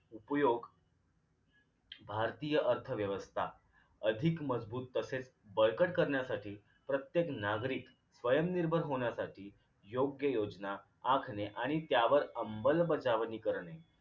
उपयोग भारतीय अर्थव्यवस्था अधिक मजबूत तसेच बळकट करण्यासाठी प्रत्येक नागरिक स्वयंनिर्भर होण्यासाठी योग्य योजना आखणे आणि त्यावर अंबलबजावणी करणे